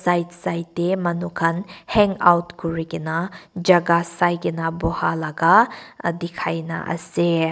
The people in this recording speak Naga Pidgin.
right side teh manu khan hangout kurigena jaga saigena bohalaga dikhia na ase.